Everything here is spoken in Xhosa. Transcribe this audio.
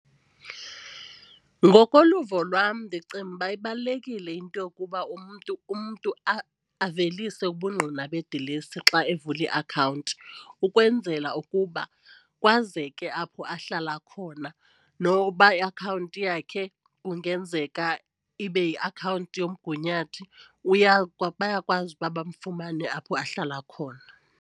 Ngokoluvo lwam ndicinga uba ibalulekile into yokuba umntu umntu avelise ubungqina bedilesi xa evula iakhawunti ukwenzela ukuba kwazeke apho ahlala khona. Noba iakhawunti yakhe kungenzeka ibe yiakhawunti yomgunyathi uyakwazi uba bayakwazi ukuba bafumane apho ahlala khona.